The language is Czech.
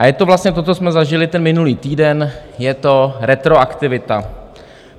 A je to vlastně to, co jsme zažili ten minulý týden, je to retroaktivita.